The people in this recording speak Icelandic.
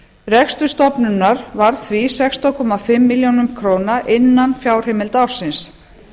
rekstur stofnunarinnar varð því sextán og hálfa milljón króna innan fjárheimilda ársins